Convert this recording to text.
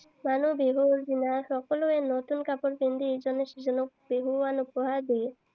মানুহৰ বিহুৰ দিনা সকলোৱে নতুন কাপোৰ পিন্ধি ইজনে সিজনক বিহুৱান উপহাৰ দিয়ে।